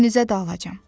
İkinizə də alacam.